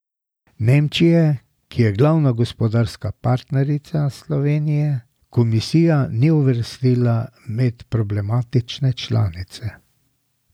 Nemčije, ki je glavna gospodarska partnerica Slovenije, komisija ni uvrstila med problematične članice.